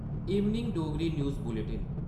evening Dogri news bulletin